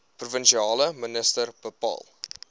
provinsiale minister bepaal